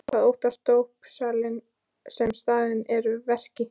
Hvað óttast dópsali sem staðinn er að verki?